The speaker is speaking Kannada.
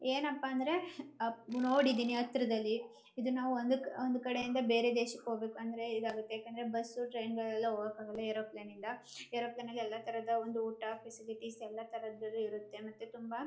ಏನಪ್ಪಾ ಅಂದ್ರೆ ನೋಡಿದೀನಿ ಹತ್ರದಲ್ಲಿ ಇದು ನಾವು ಒಂದ್ ಒಂದ್ ಕಡೆಯಿಂದ ಬೇರೆ ದೇಶಾಕ್ ಹೋಗ್ಬೇಕು ಅಂದ್ರೆ ಇದಾಗುತ್ತೆ ಯಾಕೆಂದ್ರೆ ಬಸ್ ಟ್ರೈನ್ ಎಲ್ಲ ಹೋಗಾಕ ಅಗಲ ಏರೋಪ್ಲೇನ್ ಇಂದ ಏರೋಪ್ಲೇನ್ ಅಲ್ಲಿ ಎಲ್ಲ ತರದು ಒಂದ್ ಊಟ ಫಾಸಿಲಿಟಿಸ್ ಎಲ್ಲ ತರದಲ್ಲಿ ಇರುತ್ತೆ ಮತ್ತೆ ತುಂಬಾ